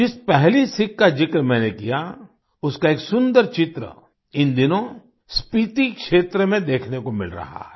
जिस पहली सीख का जिक्र मैंने किया उसका एक सुन्दर चित्र इन दिनों स्पीती क्षेत्र में देखने को मिल रहा है